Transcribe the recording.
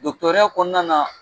Dɔgɔtɔrɔya kɔnɔna na